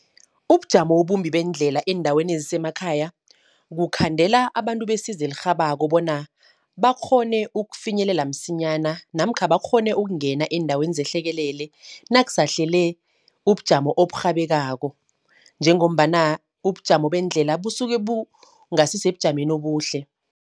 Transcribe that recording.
Ubujamo obumbi beendlela eendaweni ezisemakhaya. Kukhandela abantu besizo elirhabako, bona bakghone ukufinyelela msinyana. Namkha bakghone ukungena eendaweni zenhlekelele, nakusahlele ubujamo oburhabekako. Njengombana ubujamo bendlela busuke bungasi sebujameni obuhle.